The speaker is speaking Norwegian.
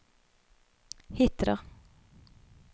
Hitra